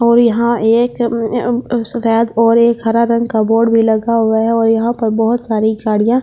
और यहाँ एक सफेद और एक हरा रंग का बोर्ड भी लगा हुआ है और यहाँ पर बहुत सारी गाड़ियां--